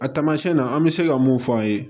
A taamasiyɛn na an bɛ se ka mun f'a' ye